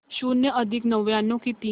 शून्य अधिक नव्याण्णव किती